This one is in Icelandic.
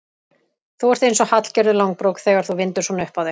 Þú ert eins og Hallgerður langbrók þegar þú vindur svona upp á þig.